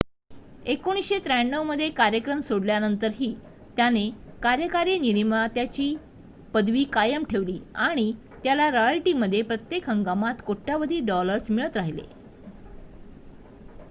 1993 मध्ये कार्यक्रम सोडल्यानंतरही त्याने कार्यकारी निर्मात्याची पदवी कायम ठेवली आणि त्याला रॉयल्टीमध्ये प्रत्येक हंगामात कोट्यावधी डॉलर्स मिळत राहिले